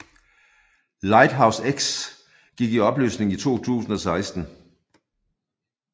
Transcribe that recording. Lighthouse X gik i opløsning i 2016